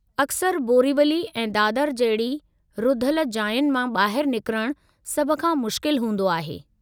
अक्सर बोरीवली ऐं दादर जहिड़ी रुधलु जायुनि मां ॿाहिरि निकरणु सभु खां मुश्किल हूंदो आहे।